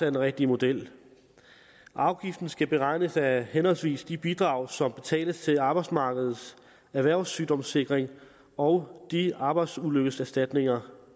den rigtige model afgiften skal beregnes af henholdsvis de bidrag som betales til arbejdsmarkedets erhvervssygdomssikring og de arbejdsulykkeserstatninger